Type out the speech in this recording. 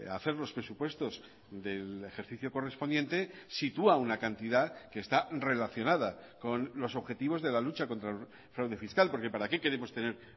hacer los presupuestos del ejercicio correspondiente sitúa una cantidad que está relacionada con los objetivos de la lucha contra el fraude fiscal porque para qué queremos tener